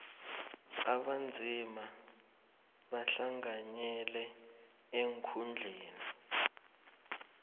abanzima bahlanganyele eenkhundleni